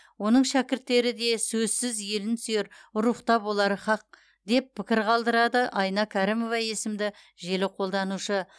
оның шәкірттері де сөзсіз елін сүйер рухта болары һақ деп пікір қалдырады айна кәрімова есімді желі қолданушы